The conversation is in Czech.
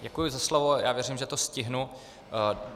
Děkuji za slovo, já věřím, že to stihnu.